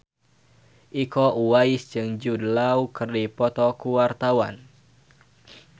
Iko Uwais jeung Jude Law keur dipoto ku wartawan